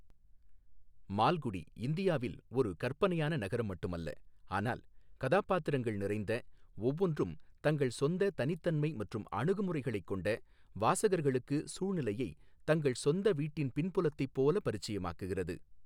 மால்குடி இந்தியாவில் ஒரு கற்பனையான நகரம் மட்டுமல்ல, ஆனால் கதாபாத்திரங்கள் நிறைந்த, ஒவ்வொன்றும் தங்கள் சொந்த தனித்தன்மை மற்றும் அணுகுமுறைகளைக் கொண்ட, வாசகர்களுக்கு சூழ்நிலையை தங்கள் சொந்த வீட்டின் பின்புலத்தைப் போல பரிச்சயமாக்குகிறது.